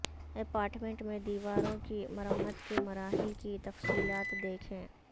apartment میں دیواروں کی مرمت کے مراحل کی تفصیلات دیکھیں